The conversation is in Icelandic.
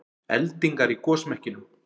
Eldingar í gosmekkinum